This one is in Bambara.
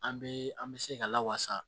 An bɛ an bɛ se ka lawasa